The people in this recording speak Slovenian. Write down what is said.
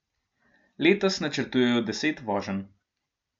Letos načrtujejo deset voženj.